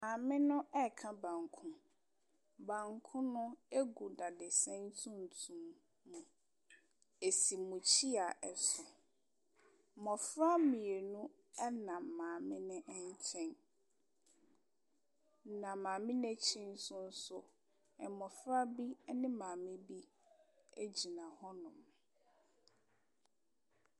Maame no ɛka banku. Banku no egu dadesɛn tuntum mu. Asi mukyia ɛso. Mmofra mmienu no ɛnam maame no nkyɛn. Na maame n'akyi nso nso so mmofra bi ɛne maame bi agyina hɔ.